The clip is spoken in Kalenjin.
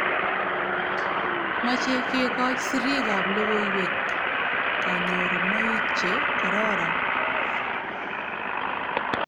mache kegoch sirik ab logoiywek kanyorunoik che karoron